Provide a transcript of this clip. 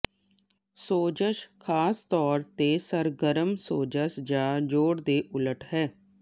ਸੋਜ਼ਸ਼ ਖਾਸ ਤੌਰ ਤੇ ਸਰਗਰਮ ਸੋਜਸ਼ ਜਾਂ ਜੋੜ ਦੇ ਉਲਟ ਹੈ